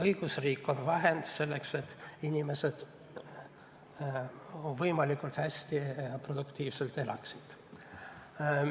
Õigusriik on vahend, selleks et inimesed võimalikult hästi ja produktiivselt elaksid.